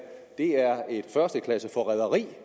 et førsteklasses forræderi